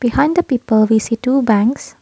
find the people we see two banks.